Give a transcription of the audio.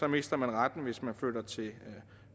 mister man retten hvis man flytter til